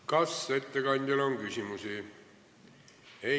Kas ettekandjale on küsimusi?